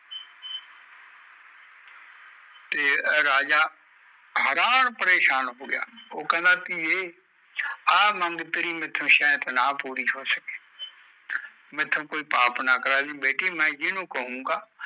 ਤੇ ਰਾਜਾ ਹਰਾਂ ਪ੍ਰੇਸ਼ਾਨ ਹੋ ਗਯਾ ਕੈਨਡਾ ਮੇਟੇ ਕੋਈ ਪਾਪ ਨਾ ਕਰਦੀ ਮੈ ਜਿਨੂੰ ਕਹੂਗਾ